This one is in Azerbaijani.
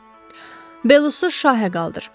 Belusu şaha qaldır.